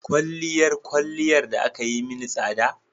Kwalliyar kwalliyar da aka yi mini tsada